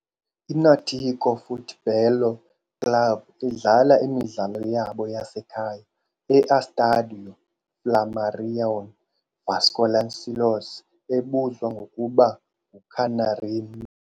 I-Náutico Futebol Clube idlala imidlalo yabo yasekhaya e-Estádio Flamarion Vasconcelos, ebuzwa ngokuba "nguCanarinho".